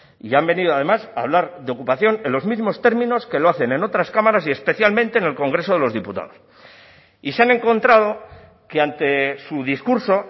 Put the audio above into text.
y han venido además a hablar de ocupación en los mismos términos que lo hacen en otras cámaras y especialmente en el congreso de los diputados y se han encontrado que ante su discurso